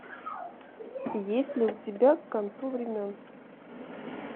есть ли у тебя к концу времен